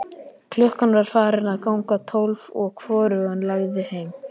Klukkan var farin að ganga tólf og hvorugan langaði heim.